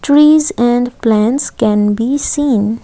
trees and plants can be seen.